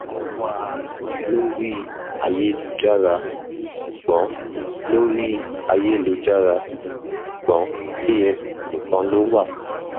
mo wá a lórí ayélujára ṣùgbọn lórí ayélujára ṣùgbọn kft nìkan ló wà